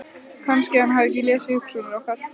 Kannski að hann hafi lesið hugsanir okkar.